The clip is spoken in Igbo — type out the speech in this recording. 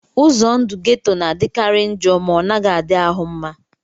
Ụzọ ndụ geto na-adịkarị njọ ma ọ naghị adị ahụ mma